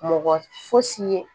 Mɔgɔ fosi ye